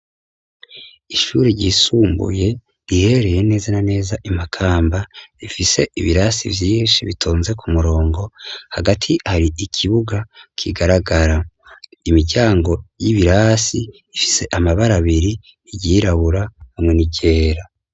Ishure ryisumbuye rihereye neza na neza i makamba rifise ibirasi vyinshi bitonze ku murongo hagati hari ikibuga kigaragara imiryango y'ibirasi ifise amabara abiri ryirabura hamwe n'iryera.